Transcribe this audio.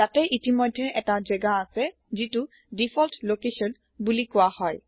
তাতে ইতিমধ্যে এটা জেগা আছে যিটো দিফল্ট লোকেছন বোলি কোৱা হয়